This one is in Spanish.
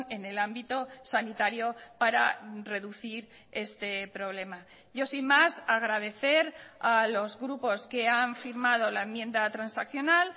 en el ámbito sanitario para reducir este problema yo sin más agradecer a los grupos que han firmado la enmienda transaccional